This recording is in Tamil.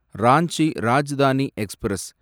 ராஞ்சி ராஜ்தானி எக்ஸ்பிரஸ்